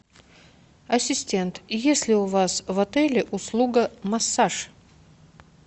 ассистент есть ли у вас в отеле услуга массаж